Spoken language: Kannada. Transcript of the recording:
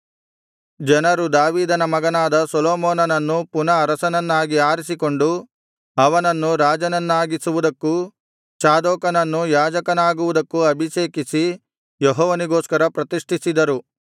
ಜನರು ದಾವೀದನ ಮಗನಾದ ಸೊಲೊಮೋನನನ್ನು ಪುನಃ ಅರಸನನ್ನಾಗಿ ಆರಿಸಿಕೊಂಡು ಅವನನ್ನು ರಾಜನನ್ನಾಗಿಸಿವುದಕ್ಕೂ ಚಾದೋಕನನ್ನು ಯಾಜಕನಾಗುವುದಕ್ಕೂ ಅಭಿಷೇಕಿಸಿ ಯೆಹೋವನಿಗೋಸ್ಕರ ಪ್ರತಿಷ್ಠಿಸಿದರು